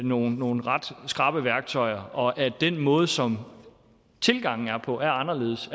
nogle nogle ret skrappe værktøjer og at den måde som tilgangen er på er anderledes